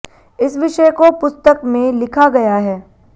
इस विषय को पुस्तक में लिखा गया है